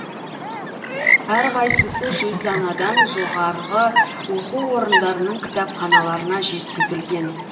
әрқайсысы жүз данадан жоғарғы оқу орындарының кітапханаларына жеткізілген